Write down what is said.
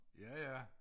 Ja ja